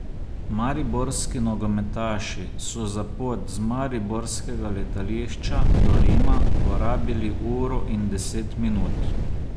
Mariborski nogometaši so za pot z mariborskega letališča do Rima porabili uro in deset minut.